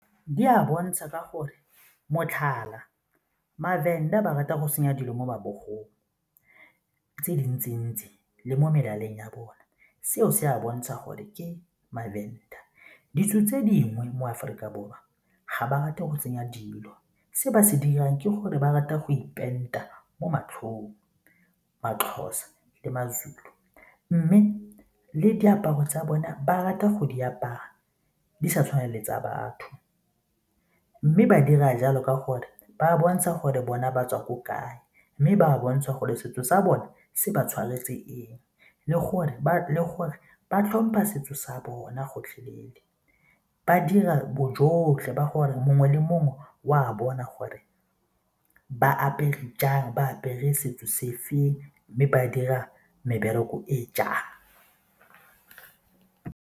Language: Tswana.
Di a bontsha ka gore motlhala, ma-Venda ba ratang go tsenya dilo mo mabogong tse dintsi-ntsi le mo melaleng ya bone seo se bontsha gore ke ma-Venda. Ditso tse dingwe mo Aforika Borwa ga ba rate go tsenya dilo, se ba se dirang ke gore ba rata go ipenta mo matlhong, ma-Xhosa le ma-Zulu mme le diaparo tsa bona ba rata go di apaya di sa tshwane le tsa batho mme ba dira jalo ka gore ba bontsha gore bona ba tswa ko kae mme ba bontsha gore setso sa bone se ba tshwanetse eng le gore ba tlhompha setso sa bona gotlhelele. Ba dira bojotlhe ba gore mongwe le mongwe o a bona gore ba apere jang, ba apere setso sefeng mme ba dira mebereko e jang.